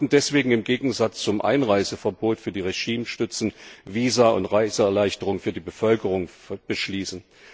Wir sollten deswegen im Gegensatz zum Einreiseverbot für die Regimestützen Visa und Reiseerleichterungen für die Bevölkerung beschließen.